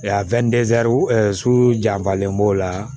janfalen b'o la